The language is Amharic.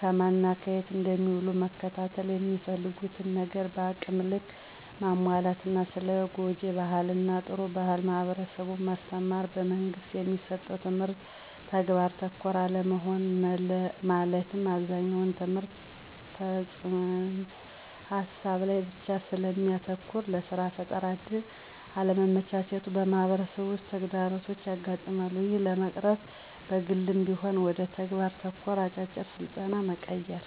ከማን እና የት እንደሚውሉ መከታተል፣ የሚፈልጉትን ነገር በአቅም ልክ ማሟላት እና ስለ ጉጅ ባህል እና ጥሩ ባህል ለማህበረሠቡ ማስተማር። - በመንግስት የሚሠጠው ትምህርት ተግባር ተኮር አለመሆን መለትም አብዛኛው ትምህርት ተፅንስ ሀሳብ ላይ ብቻ ስለሚያተኩር ለስራ ፈጠራ እድል አለማመቻቸቱ በማህበረሠቡ ውስጥ ተግዳሮቶች ያጋጥማሉ። ይህን ለመቅረፍ በግልም ቢሆን ወደ ተግባር ተኮር አጫጭር ስልጠና መቀየር።